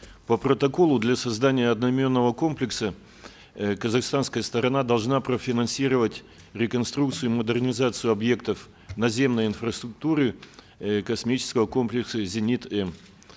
по протоколу для создания одноименного комплекса э казахстанская сторона должна профинансировать реконструкцию и модернизацию объектов наземной инфраструктуры э космического комплекса зенит м